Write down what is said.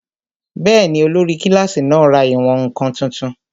Bẹ́ẹ̀ni, olórí kílásì náà ra ìwọ̀n-ǹkan tuntun